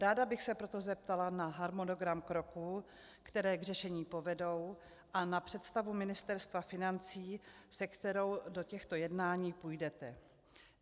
Ráda bych se proto zeptala na harmonogram kroků, které k řešení povedou, a na představu Ministerstva financí, se kterou do těchto jednání půjdete.